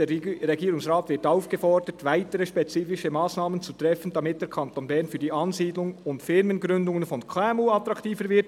«Der Regierungsrat wird aufgefordert, weitere spezifische Massnahmen zu treffen, damit der Kanton Bern für die Ansiedlung und Firmengründungen von KMU attraktiver wird.